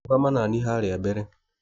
Rũgama nanie harĩa mbere.